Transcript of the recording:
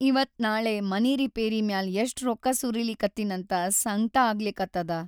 ಇವತ್‌ ನಾಳೆ ಮನಿ ರಿಪೇರಿ ಮ್ಯಾಲ್ ಎಷ್ಟ್‌ ರೊಕ್ಕಾ ಸುರೀಲಿಕತ್ತಿನಂತ ಸಂಕ್ಟ ಆಗ್ಲಿಕತ್ತದ.